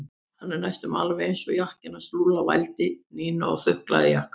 Hann er næstum alveg eins og jakkinn hans Lúlla vældi Nína og þuklaði jakkann.